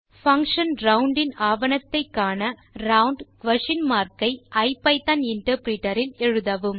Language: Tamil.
பங்ஷன் ரவுண்ட் இன் ஆவணத்தை காண ரவுண்ட் குயஸ்ஷன் மார்க் ஐ ஐபிதான் இன்டர்பிரிட்டர் இல் எழுதவும்